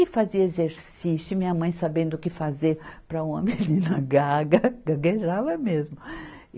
E fazia exercício, e minha mãe sabendo o que fazer para uma menina gaga, gaguejava mesmo.